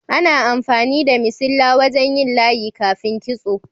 Ana amfani da missilla wajen yin layi kafin kitso.